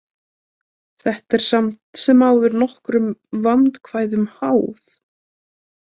Þetta er samt sem áður nokkrum vandkvæðum háð.